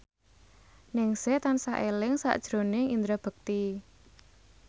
Ningsih tansah eling sakjroning Indra Bekti